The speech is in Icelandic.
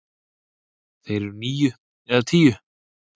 Þeir eru níu eða tíu.